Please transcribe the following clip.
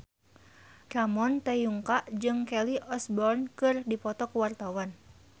Ramon T. Yungka jeung Kelly Osbourne keur dipoto ku wartawan